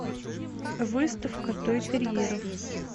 выставка той терьеров